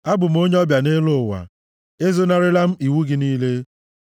Abụ m onye ọbịa nʼelu ụwa; ezonarịla m iwu gị niile.